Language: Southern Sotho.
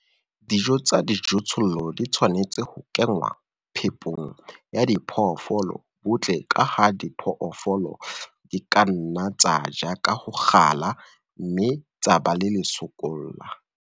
Dijo tsa dijothollo di tshwanetse ho kenngwa phepong ya diphoofolo butle ka ha diphoofolo di ka nna tsa ja ka ho kgala, mme tsa ba le lesokolla.